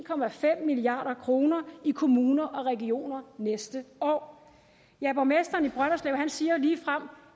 milliard kroner i kommuner og regioner næste år ja borgmesteren i brønderslev siger ligefrem